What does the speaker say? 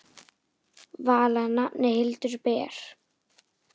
Vala nafnið Hildur ber.